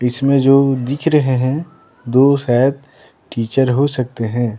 इसमें जो दिख रहे हैं दो शायद टीचर हो सकते हैं।